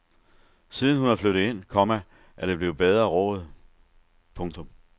Siden hun er flyttet ind, komma er der blevet bedre råd. punktum